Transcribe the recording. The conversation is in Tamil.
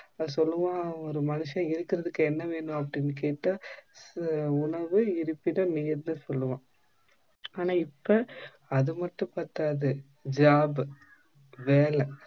சொல்லுவான் ஒரு மனுஷன் இருக்குறதுக்கு என்ன வேணும் அப்படி கேட்டா உணவு இருப்பிடம் சொல்லுவான் ஆன இப்ப அது மட்டும் பத்தாது job வேலை